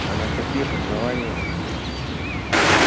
а на каких основаниях